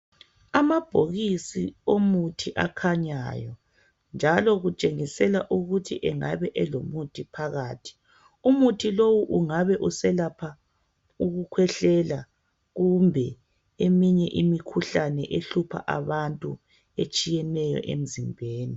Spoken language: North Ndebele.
Amabhokisi omuthi akhanyayo, njalo kutshengisela ukuthi engabe elomuthi phakathi. Umuthi lowu ungabe uselapha ukukhwehlela kumbe eminye imikhuhlane ehlupha abantu, etshiyeneyo emzimbeni.